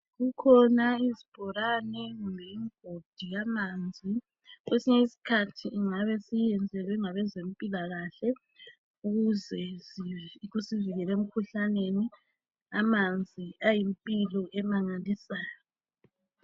Kukhona izibholane lemigodi yamanzi. Kwesinye isikhathi siyabe siyiyenzelwe ngabezempilakahle ukuze kusivikele emikhuhlaneni. Amanzi ayimpilo emangalisayo.